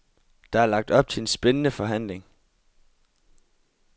Der er lagt op til en spændende forhandling.